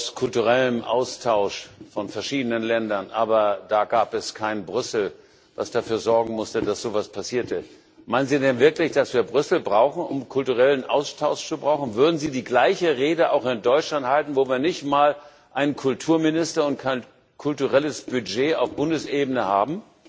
Jazz ist auch aus kulturellem Austausch von verschiedenen Ländern entstanden, aber da gab es kein Brüssel, das dafür sorgen musste, dass so etwas passierte. Meinen Sie denn wirklich, dass wir Brüssel brauchen, um kulturellen Austausch zu haben? Würden Sie die gleiche Rede auch in Deutschland halten, wo wir nicht einmal einen Kulturminister und auch kein kulturelles Budget auf Bundesebene haben?